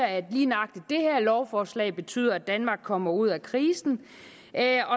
at lige nøjagtig det her lovforslag betyder at danmark kommer ud af krisen